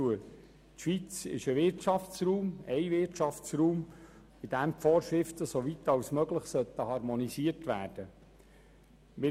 Die Schweiz ist ein Wirtschaftsraum, in dem die Vorschriften soweit wie möglich harmonisiert werden sollen.